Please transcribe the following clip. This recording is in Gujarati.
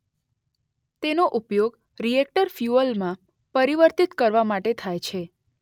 તેનો ઉપયોગ રીએક્ટર ફ્યુઅલમાં પરિવર્તિત કરવા માટે થાય છે.